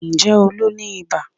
Ǹjẹ́ Olú ní ibà?